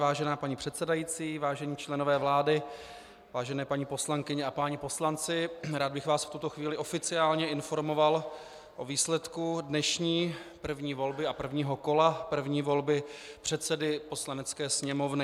Vážená paní předsedající, vážení členové vlády, vážené paní poslankyně a páni poslanci, rád bych vás v tuto chvíli oficiálně informoval o výsledku dnešní první volby a prvního kola první volby předsedy Poslanecké sněmovny.